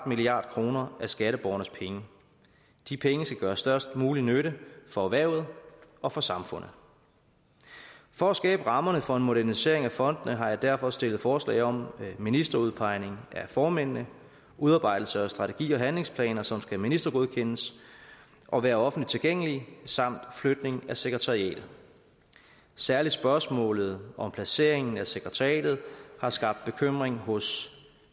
milliard kroner af skatteborgernes penge de penge skal gøre størst mulig nytte for erhvervet og for samfundet for at skabe rammerne for en modernisering af fondene har jeg derfor stillet forslag om ministerudpegning af formændene udarbejdelse af strategier og handlingsplaner som skal ministergodkendes og være offentligt tilgængelige samt flytning af sekretariatet særlig spørgsmålet om placeringen af sekretariatet har skabt bekymring hos